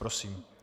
Prosím.